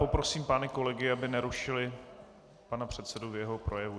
Poprosím pány kolegy, aby nerušili pana předsedu v jeho projevu.